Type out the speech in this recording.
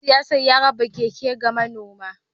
Dan siyasar ya raba keke ga manoma